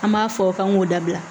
An b'a fɔ k'an k'o dabila